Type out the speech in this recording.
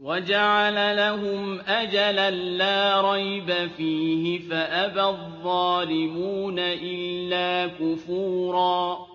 وَجَعَلَ لَهُمْ أَجَلًا لَّا رَيْبَ فِيهِ فَأَبَى الظَّالِمُونَ إِلَّا كُفُورًا